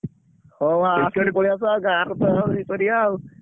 ହଉ ଆସ ପଳେଇଆସ ଗାଁରେ ତ କରିଆ ଆଉ।